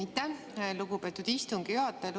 Aitäh, lugupeetud istungi juhataja!